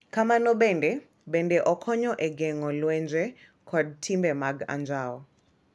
Kamano bende, bende okonyo e geng’o lwenje kod timbe mag anjao.